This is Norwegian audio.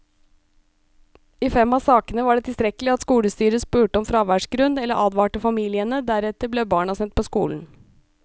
I fem av sakene var det tilstrekkelig at skolestyret spurte om fraværsgrunn eller advarte familiene, deretter ble barna sendt på skolen.